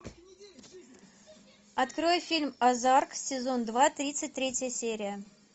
открой фильм озарк сезон два тридцать третья серия